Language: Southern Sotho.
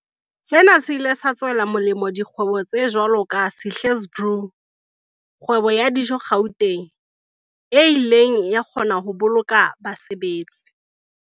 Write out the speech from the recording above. Sena se ile sa tswela molemo dikgwebo tse jwalo ka Sihle's Brew, kgwebo ya dijo Gauteng, e ileng ya kgona ho boloka basebetsi